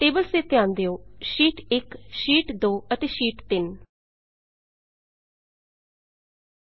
tables ਤੇ ਧਿਆਨ ਦਿਓ ਸ਼ੀਟ 1 ਸ਼ੀਟ 1 ਸ਼ੀਟ 2 ਸ਼ੀਟ 2 ਅਤੇ ਸ਼ੀਟ 3 ਸ਼ੀਟ 3